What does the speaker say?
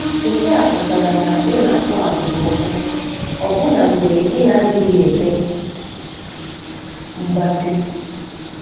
Nke a pụtara na ị na-akpo abụba ọkụ ọbụna mgbe ị na-adịghị eme mgbati.